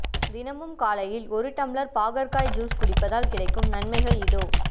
தினமும் காலையில் ஒரு டம்ளர் பாகற்காய் ஜூஸ் குடிப்பதால் கிடைக்கும் நன்மைகள் இதோ